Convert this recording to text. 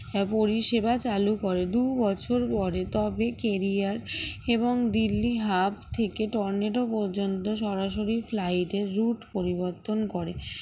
তার পরিষেবা চালু করে দু'বছর পরে তবে কেরিয়ার এবং দিল্লি hub থেকে টর্নেডো পর্যন্ত সরাসরি flight এর route পরিবর্তন করে